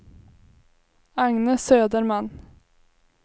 Agne Söderman